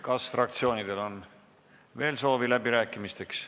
Kas fraktsioonidel on veel soovi läbi rääkida?